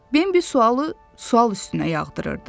Bimbi sualı sual üstünə yağdırırdı.